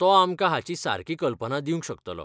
तो आमकां हाची सारकी कल्पना दिवंक शकतलो.